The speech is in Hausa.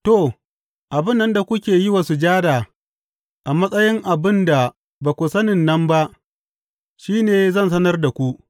To, abin nan da kuke yi wa sujada a matsayin abin da ba ku sani nan ba shi ne zan sanar da ku.